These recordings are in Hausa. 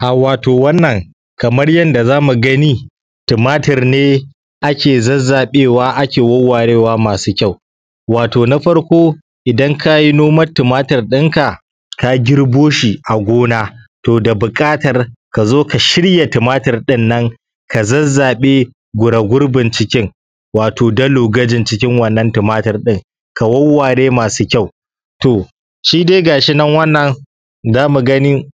Ah wato wannan kamar yadda zamu gani tumatir ne ake zazzaɓewa ake wawwarewa masu kyau. Wato na farko idan ka yi noman tumatir ɗinka, ka girbo shi a gona, to da buƙatar ka zo ka shirya tumatir ɗinnan ka zazzaɓe baragurbin cikin wato dalogajin cikin wannan tumatir ɗin, ka wawware masu kyau. To shi dai ga shi nan wannan da mu gani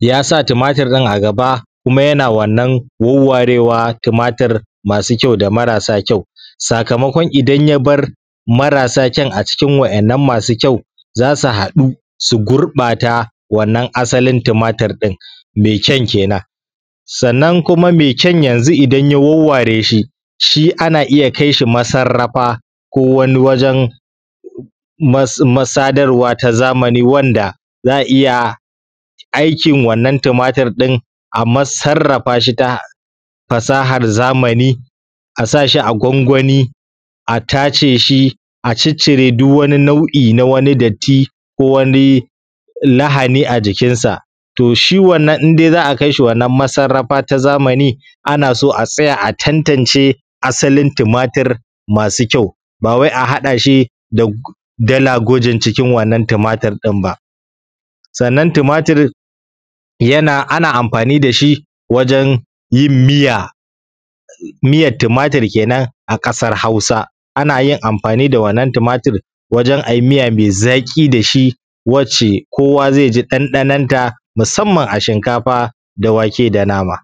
ya sa tumatir ɗin a gaba, kuma yana wannan wawwarewa tumatir masu kyau da marasa kyau, sakamakon idan ya bar marasa kyau acikin wa’innan masu kyau za su haɗu su gurɓata wannan asalin tumatir ɗin mai kyan kenan. Sannan kuma mai kyan yanzu idan ya wawware shi, shi ana iya kai shi masarrafa ko wani wajen masa, masadarwa ta zamani wanda za a iya aikin wannan tumatir ɗin a masarrafa shi ta fasahar zamani a sa shi a gwangwani a tace shi, a ciccire duk wani nau’i na wani datti ko wani lahani a jikinsa. To shi wannan in dai za a kai shi wannan masarrafa ta zamani ana so a tsaya a tantance asalin tumatir masu kyau, ba wai a haɗa shi da dalagujin cikin wannan tumatir ɗin ba. Sannan tumatir yana ana amfani da shi wajen yin miya miyat tumatir kenan a ƙasar Hausa. Ana yin amfani da wannan tumatir wajen a yi miya mai zaƙi da shi, wacce kowa zai ji ɗanɗanonta musamman a shinkafa da wake da nama.